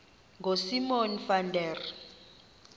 ngosimon van der